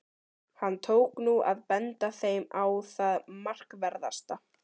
Hann tók nú að benda þeim á það markverðasta.